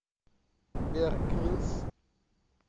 беар гриллс